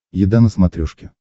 еда на смотрешке